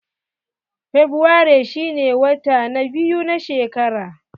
Fabrairu shine wata na biyu na shekara.